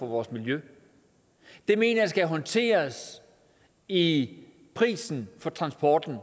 vores miljø det mener jeg skal håndteres i prisen for transporten